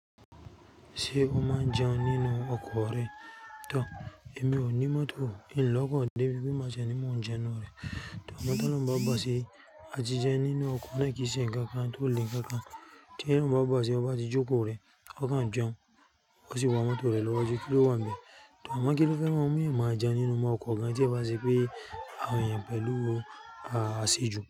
Ṣé o máa ń jẹun nínú ọkọ̀ rẹ? Tọ, èmi ò ní mọ́tò. Ìn lọ́kàn dé bí mó máa ṣe ní mú jẹun nínú rẹ̀. Tọ, àmọ́ tolohun bá bàṣiri, a ti jẹun nínú ọkọ̀ náà kì í ṣe ǹkan kan tó le ǹkan kan. Tí ẹ̀yin bá bọ̀ ṣe o bá ti jókòó rẹ, o kàn jẹun, o sì wa mọ́tò rẹ lọ́waju kí ló wan be? Tọ, àmọ́ kí ló fẹ́ má mu i má jẹun nínú ọkọ̀ gan tí ẹ bá ṣe pé àwọn èèyàn pẹ̀lú àṣejù.